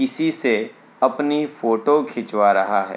किसी से अपनी फोटो खिचवा रहा है।